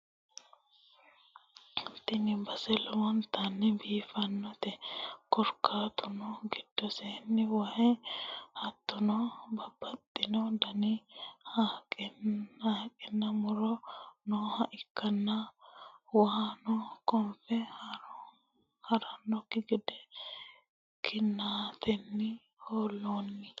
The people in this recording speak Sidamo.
tini base lowontanni biiffannote, korkaatuno giddosenni waay hattono babbaxxitino dani haqqenna muro nooha ikkanna, waano konfe ha'rannokki gede kinnatenni hoo'loonni.